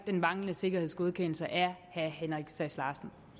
den manglende sikkerhedsgodkendelse af herre henrik sass larsen